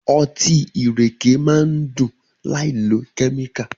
Ọtí ìrèké máá ń dùn láìlo kẹ́míkà.